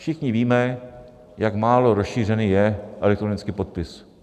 Všichni víme, jak málo rozšířený je elektronický podpis.